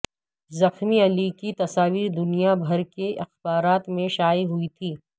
زخمی علی کی تصاویر دنیا بھر کے اخبارات میں شائع ہوئی تھیں